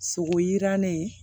Sogo yirannen